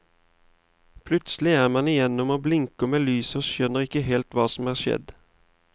Plutselig er man igjennom og blinker mot lyset og skjønner ikke helt hva som har skjedd.